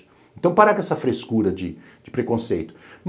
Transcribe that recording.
Então, para com essa frescura de preconceito.